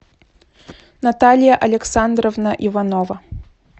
наталья александровна иванова